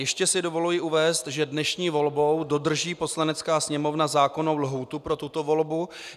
Ještě si dovoluji uvést, že dnešní volbou dodrží Poslanecká sněmovna zákonnou lhůtu pro tuto volbu.